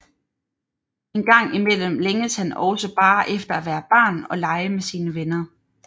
Engang imellem længes han også bare efter at være barn og lege med sine venner